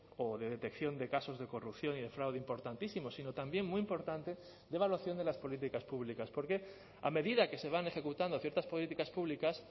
o de detección de casos de corrupción y defraude importantísimos sino también muy importante de evaluación de las políticas públicas porque a medida que se van ejecutando ciertas políticas públicas